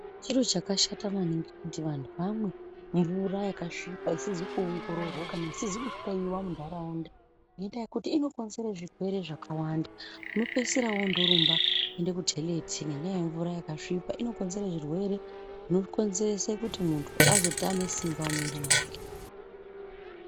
Chiro chakashata maningi kuti vantu vamwe mvura yakasvipa ,isizi kuongororwa kana isizi kuhloiwa muntaraunda ,ngenda yekutI inokonzere zvirwere zvakawanda. Unopeisira wondorumba kuende kutheleti, ngenyaya yemvura yakasvipa. Inokonzere zvirwere zvinokonzerese kuti muntu azotame simba mumwiri mwake.